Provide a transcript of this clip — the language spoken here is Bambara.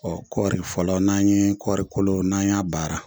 Ɔ kɔri fɔlɔ n'an ye kɔrikolo n'an y'a baara